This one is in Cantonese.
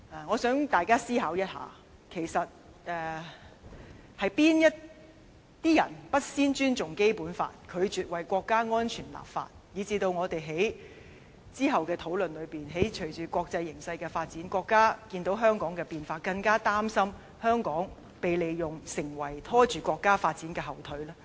我希望大家思考一下，其實是那些人不先尊重《基本法》，拒絕為國家安全立法，以致我們於之後的討論中，隨着國際形勢的發展，國家看到香港的變化，更加擔心香港被利用而拖着國家發展後腿呢？